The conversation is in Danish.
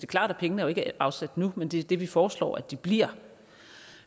klart at pengene jo ikke er afsat nu men det er det vi foreslår at de bliver